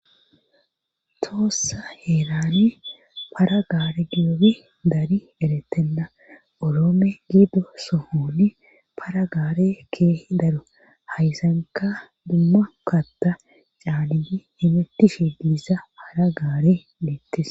toossa heelane para gaar giyoobi dari erettenna oroome giido sohoni para gaare keehi daro haysanka dumma katta caaliyi himettishe giisa para gaare leettis